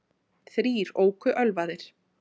Þrír óku ölvaðir